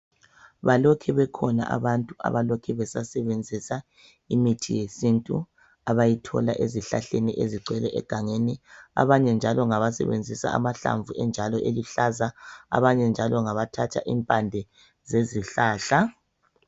Balokhe bekhona abantu abalokhe besasebenzisa imithi yesintu abayithola ezihlahleni ezigcwele egangeni, abanye njalo ngabasebenzisa amahlamvu enjalo eluhlaza abanye njalo ngabathatha impande zezihlahla.